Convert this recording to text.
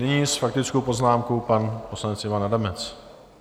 Nyní s faktickou poznámkou pan poslanec Ivan Adamec.